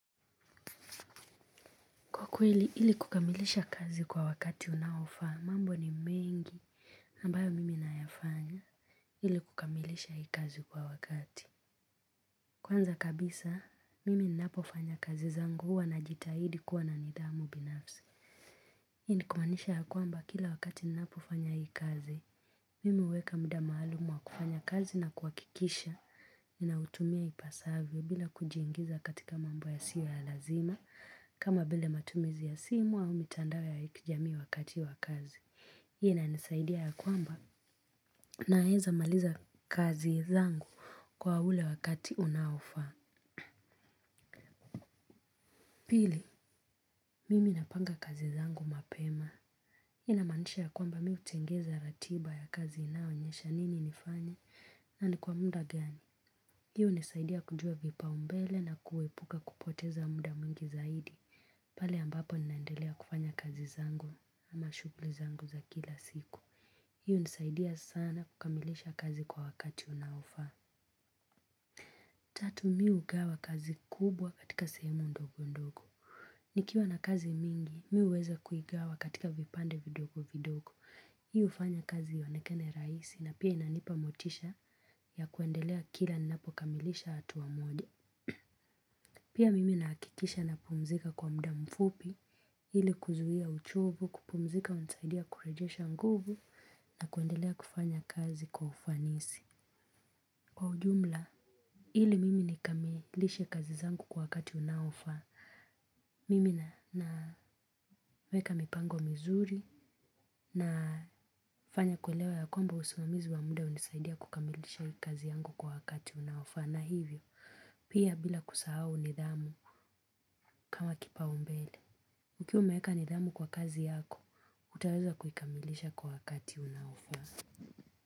Kwa kweli ili kukamilisha kazi kwa wakati unaofaa, mambo ni mengi ambayo mimi nayafanya ili kukamilisha hii kazi kwa wakati. Kwanza kabisa, mimi ninapofanya kazi zangu huwa najitahidi kuwa na nidhamu binafsi. Hii ni kumaanisha ya kwamba kila wakati ninapofanya hii kazi, mimi huweka muda maalumu wa kufanya kazi na kuhakikisha. Ninautumia ipasavyo bila kujiingiza katika mambo yasiyo ya lazima. Kama vile matumizi ya simu au mitandao ya kijamii wakati wa kazi hii inanisaidia ya kwamba naweza kumaliza kazi zangu kwa ule wakati unaofaa. Pili, mimi napanga kazi zangu mapema. Ninamaanisha ya kwamba mi hutengeneza ratiba ya kazi inayoonyesha nini nilifanya na ni kwa muda gani. Hii unisaidia kujua vipaombele na kuepuka kupoteza muda mwingi zaidi. Pale ambapo ninaendelea kufanya kazi zangu ama shughuli zangu za kila siku. Hii unisaidia sana kukamilisha kazi kwa wakati unaofaa. Tatu mi ugawa kazi kubwa katika sehemu ndogo ndogo. Nikiwa na kazi mingi, mi huweza kuigawa katika vipande vidogo vidogo. Mi ufanya kazi ionekane rahisi na pia inanipa motisha ya kuendelea kila ninapo kamilisha hatua moja. Pia mimi nahakikisha napumzika kwa muda mfupi. Hili kuzuia uchovu, kupumzika hunisaidia kurejesha nguvu na kuendelea kufanya kazi kwa ufanisi. Kwa ujumla, ili mimi nikamilishe kazi zangu kwa wakati unaofaa. Mimi na na weka mipango mizuri na fanya kuelewa ya kwamba usimamizi wa muda hunisaidia kukamilisha kazi yangu kwa wakati unaofaa na hivyo, pia bila kusahau nidhamu kama kipaombele ukiwa umeweka nidhamu kwa kazi yako, utaweza kuikamilisha kwa wakati unaofaa.